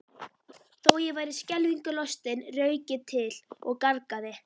Þó ég væri skelfingu lostinn rauk ég til og gargaði